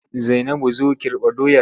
Zainabu zo Kirɓa doyar!